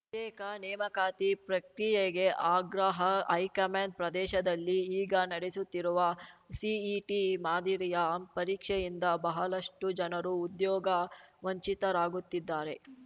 ತ್ಯೇಕ ನೇಮಕಾತಿ ಪ್ರಕ್ರಿಯೆಗೆ ಆಗ್ರಹ ಹೈಕಮಾಂಡ್ ಪ್ರದೇಶದಲ್ಲಿ ಈಗ ನಡೆಸುತ್ತಿರುವ ಸಿಇಟಿ ಮಾದರಿಯ ಪರೀಕ್ಷೆಯಿಂದ ಬಹಳಷ್ಟುಜನರು ಉದ್ಯೋಗ ವಂಚಿತರಾಗುತ್ತಿದ್ದಾರೆ